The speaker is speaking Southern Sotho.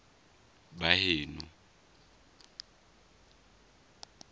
baheno